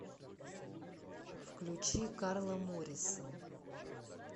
включи карла морисон